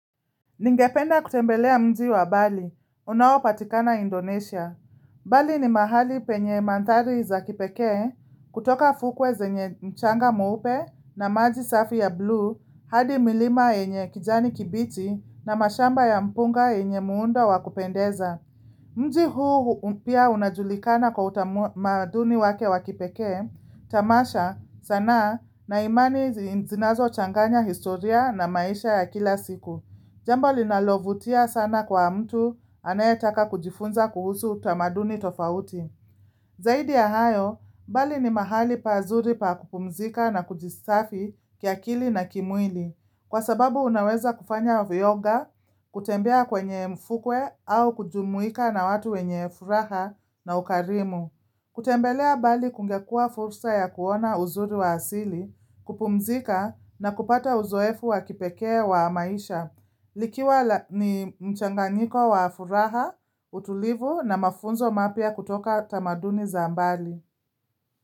Ningependa kutembelea mji wa Bali. Unaopatikana Indonesia. Bali ni mahali penye mandhari za kipekee kutoka fukwe zenye mchanga mweupe na maji safi ya blue hadi milima yenye kijani kibichi na mashamba ya mpunga yenye muundo wakupendeza. Mji huu pia unajulikana kwa utamaduni wake wakipekee, tamasha sanaa na imani zinazo changanya historia na maisha ya kila siku. Jambo linalovutia sana kwa mtu anayetaka kujifunza kuhusu utamaduni tofauti. Zaidi ya hayo, bali ni mahali pazuri pa kupumzika na kujisafi kiakili na kimwili. Kwa sababu unaweza kufanya viyoga, kutembea kwenye mfukwe au kujumuika na watu wenye furaha na ukarimu. Kutembelea bali kungekua fursa ya kuona uzuri wa asili, kupumzika na kupata uzoefu wa kipekee wa maisha. Likiwa ni mchanganiko wa furaha, utulivu na mafunzo mapya kutoka tamaduni za mbali.